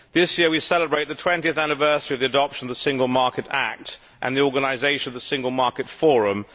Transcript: This year we celebrate the 20 anniversary of the adoption of the Single Market Act and the organisation of the Single Market Forum.